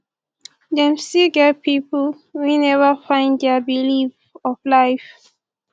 dem still get pipo wey neva find dia belief of life